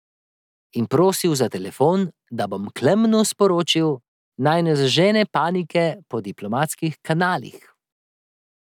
In prosil za telefon, da bom Klemenu sporočil, naj ne zažene panike po diplomatskih kanalih.